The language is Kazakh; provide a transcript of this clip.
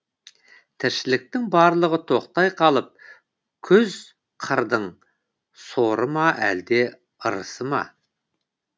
тіршіліктің барлығы тоқтай қалып күз қырдың соры ма әлде ырысы ма